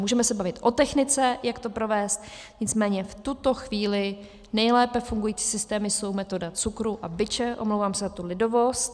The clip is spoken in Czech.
Můžeme se bavit o technice, jak to provést, nicméně v tuto chvíli nejlépe fungující systémy jsou metoda cukru a biče, omlouvám se za tu lidovost.